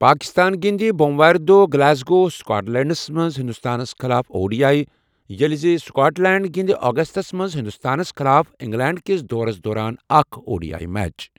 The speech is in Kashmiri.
پٲکستان گِنٛدِ بوموارِ دۄہ گلاسگو، سکاٹ لینڈَس منٛز ہنٛدوستانَس خلاف او ڈی آٮٔی، ییٚلہِ زِ سکاٹ لینڈ گِنٛدِ اگستَس منٛز ہنٛدوستانَس خلاف انگلینڈ کِس دورَس دوران اکھ او ڈی آٮٔی میچ۔